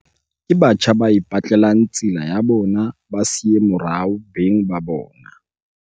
Ke batjha ba ipetlelang tsela ya bona ba sa siye morao beng ka bona.